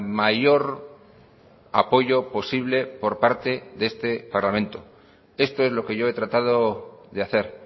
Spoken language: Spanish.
mayor apoyo posible por parte de este parlamento esto es lo que yo he tratado de hacer